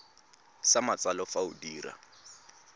sa matsalo fa o dira